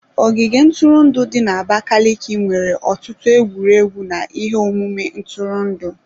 Ogige ntụrụndụ dị n'Abakaliki nwere ọtụtụ egwuregwu na ihe omume ntụrụndụ.